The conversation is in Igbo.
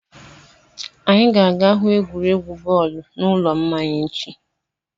Anyị ga-aga hụ egwuregwu bọọlụ n'ụlọ mmanya echi.